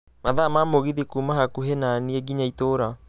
mathaa ma mũgithi kuuma hakũhi naniĩ nginya itũra